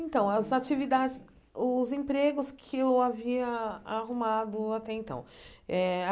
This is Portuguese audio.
Então, as atividades, os empregos que eu havia arrumado até então eh.